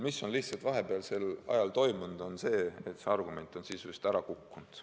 Aga vahepealsel ajal on toimunud see, et see argument on sisuliselt ära kukkunud.